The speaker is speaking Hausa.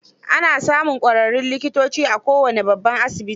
Ana samun ƙwararrun likitoci a kowane babban asibiti.